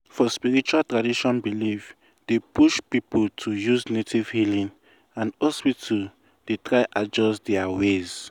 for spiritual tradition belief dey push people to use native healing and hospital dey try adjust to their ways.